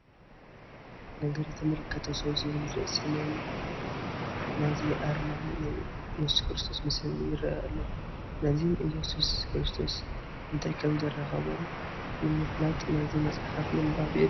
ነገር የተመለከተው ሰው ዝብል ርእሲ ናይ ናዚ ኣርማን ናይ ኢየሱስ ክርስቶስ ምስልን ይርአ ኣሎ፡፡ ናዚን ኢየሱስ ክርስቶስን እንታይ ከምዘራኸቦም ንምፍላጥ ነዚ መፅሓፍ ምንባብ የድሊ፡፡